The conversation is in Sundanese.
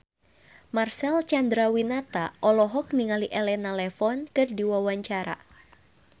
Marcel Chandrawinata olohok ningali Elena Levon keur diwawancara